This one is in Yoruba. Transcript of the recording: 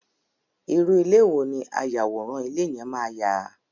irú ilé wo ni ayàwòrán ilé yẹn máa yà?